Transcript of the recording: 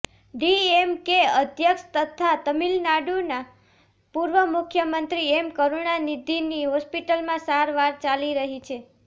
ડીએમકે અધ્યક્ષ તથા તમિલનાડુના પૂર્વ મુખ્યમંત્રી એમ કરૂણાનિધિની હોસ્પિટલમાં સારવાર ચાલી રહી છે